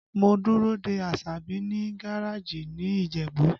Mo dúró de Asabi ní gareeji ní Ìjẹ̀bú